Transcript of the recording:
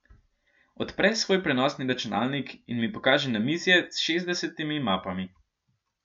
Odpre svoj prenosni računalnik in mi pokaže namizje s šestdesetimi mapami.